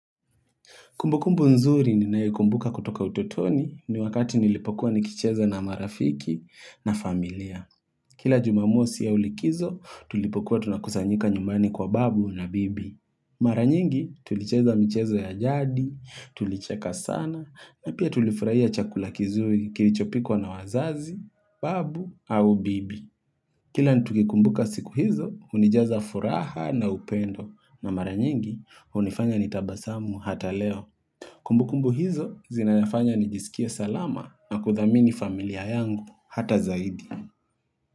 Kumbukumbu nzuri ninayokumbuka kutoka utotoni ni wakati nilipokuwa nikicheza na marafiki na familia. Kila jumamosi au likizo tulipokuwa tunakusanyika nyumani kwa babu na bibi. Maraa nyingi tulicheza mchezo ya jadi, tulicheka sana, na pia tulifurahia chakula kizuri kirichopikwa na wazazi, babu au bibi. Kila nikikumbuka siku hizo hunijaza furaha na upendo na maranyingi hunifanya nitabasamu hata leo. Kumbukumbu hizo zinayafanya nijisikie salama na kuthamini familia yangu hata zaidi.